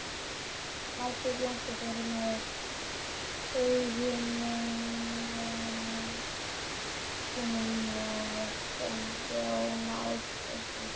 Margrét Jónsdóttir með eiginmönnum sínum og Jón Ásbjarnarson.